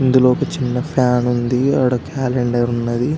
ఇందులో ఒక చిన్న ఫ్యాన్ ఉంది ఆడ క్యాలెండరు ఉన్నది--